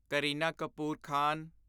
Kareena Kapoor Khan